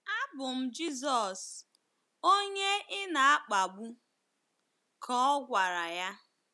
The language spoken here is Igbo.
“ Abụ m Jizọs, onye ị na-akpagbu, ka ọ gwara ya.